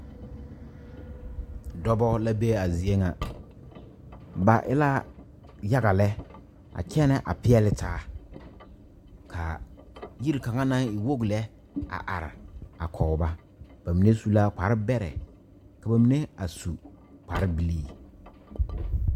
Dɔba la be a zie ŋa ba e la yaga lɛ a kyɛnɛ a peɛle taa ka yiri kaŋa naŋ e wogi lɛ a are a kɔge ba ba mine su la kparebɛrɛ ka ba mine a su kparebilii.